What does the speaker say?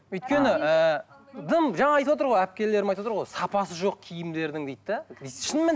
өйткені ііі дым жаңа айтывотыр ғой әпкелерім айтывотыр ғой сапасы жоқ киімдердің дейді де шынымен